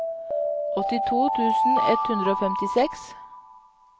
åttito tusen ett hundre og femtiseks